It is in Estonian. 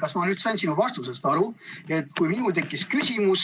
Kas ma nüüd sain sinu vastusest õigesti aru, et kui minul tekkis küsimus